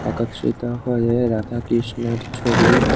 একত্রিত হয়ে রাধাকৃষ্ণের ছবি--